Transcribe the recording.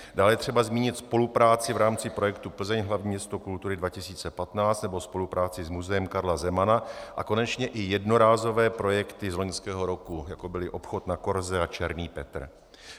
Dále je třeba zmínit spolupráci v rámci projektu Plzeň - hlavní město kultury 2015 nebo spolupráci s Muzeem Karla Zemana a konečně i jednorázové projekty z loňského roku, jako byly Obchod na korze a Černý Petr.